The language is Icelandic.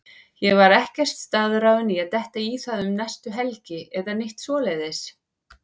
Ég var ekkert staðráðinn í að detta í það um næstu helgi eða neitt svoleiðis.